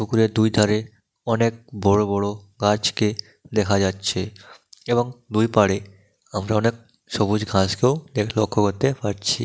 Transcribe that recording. পুকুরের দুই ধারে অনেক বড় বড় গাছকে দেখা যাচ্ছে এবং দুই পারে আমরা অনেক সবুজ ঘাস কেউ লক্ষ্য করতে পারছি--